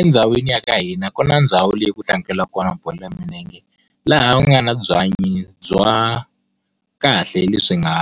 Endhawini ya ka hina ku na ndhawu leyi kutlangeriwaka kona bolo ya milenge. Laha u nga ni byanyi bya kahle lebyi nga